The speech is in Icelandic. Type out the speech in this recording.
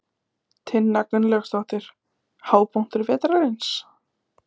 Tinna Gunnlaugsdóttir: Hápunktur vetrarins?